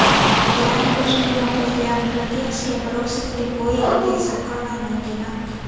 કે આ ઇન્ડસ્ટ્રીમાં પોતે આમ પ્રત્યક્ષ કે પરોક્ષ રીતે કોઈ રીતે સંકળાવા નહોતી માંગતી